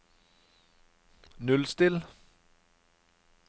nullstill